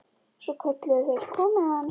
Svo kölluðu þeir: Komiði aðeins!